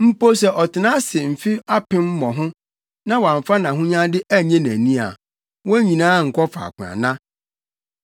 mpo sɛ ɔtena ase mfe apem mmɔho na wamfa nʼahonyade annye nʼani a, wɔn nyinaa nkɔ faako ana?